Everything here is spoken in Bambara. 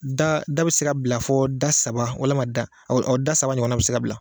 Da da bɛ se ka bila fɔɔ da saba walima da da saba ɲɔgɔnna bɛ se ka bila.